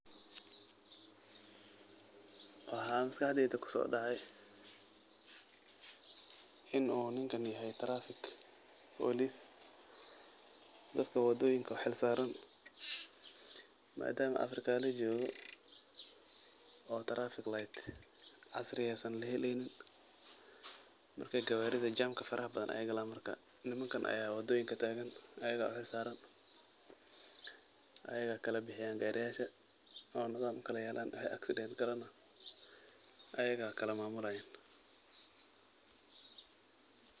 Waxaa maskaxdeyda kusoo dhacay in uu ninkan yahay traffic police dadka wadooyinka u xilsaaran. Maadaama Africa la joogo oo traffic light casriyaysan la helaynin, marka gawaarida jamka farahbadan ayaay galaan. Marka nimankan ayaa wadooyinka taagan, ayigaa u xilsaaran, ayigaa kala bixiyaan gaariyaasha nocyadan u kala yaalaan, wixii accident galana ayigaa kala maamulayaan.